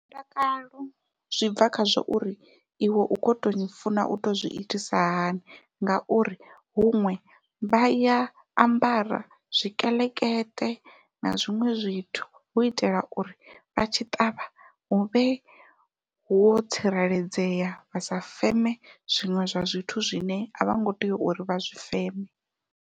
Mutakalo zwi bva khazwo uri iwe u kho to funa uto zwi itisa hani ngauri huṅwe vha ya ambara zwikeḽekeṱe na zwi zwiṅwe zwithu hu itela uri vha tshi ṱavha huvhe ho tsireledzea vha sa feme zwiṅwe zwa zwithu zwine a vho ngo tea uri vha zwi feme.